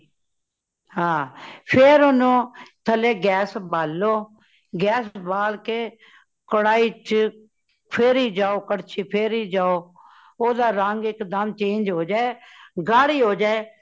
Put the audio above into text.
ਹਾ ਫੇਰ ਓਨੁ ਥੱਲੇ gas ਬਾਲੋ ,gas ਬਾਲ ਕੇ ਕਢਾਈ ਵਿਚ ਫੇਰੀ ਜਾਓ ਕੜਛੀ ਫੇਰੀ ਜਾਓ, ਓਦਾਂ ਰੰਗ ਇਕਦਮ change ਹੋਜਾਏ ਗੱਡੀ ਹੋਜਾਏ